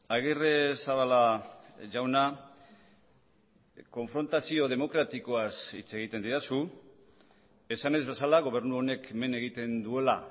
agirrezabala jauna konfrontazio demokratikoaz hitz egiten didazu esanez bezala gobernu honek hemen egiten duela